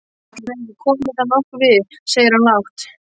Nei ætli mér komi það nokkuð við, segir hann lágt.